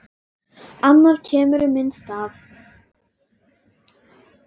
Annar kemur í minn stað.